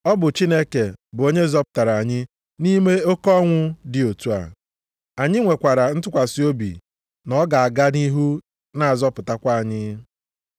Ọ bụ Chineke bụ onye zọpụtara anyị site nʼime oke ọnwụ dị otu a. Anyị nwekwara ntụkwasị obi na ọ ga-aga nʼihu na-azọpụtakwa anyị,